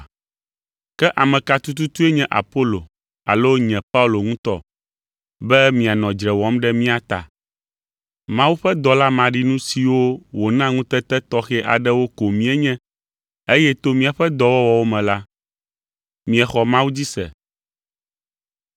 Ke ame ka tututue nye Apolo alo nye Paulo ŋutɔ, be mianɔ dzre wɔm ɖe mía ta? Mawu ƒe dɔla maɖinu siwo wòna ŋutete tɔxɛ aɖewo ko míenye eye to míaƒe dɔwɔwɔwo me la, miexɔ Mawu dzi se.